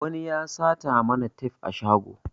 Wani ya sata mana tef a shago